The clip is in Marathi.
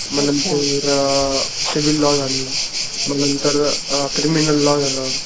मग नंतर अ सिविल लॉ झालं नंतर अ क्रिमिनल लॉ झालं